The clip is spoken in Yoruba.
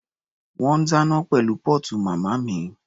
Wọ́n ń dáná pẹ̀lú póòtù màmá mi.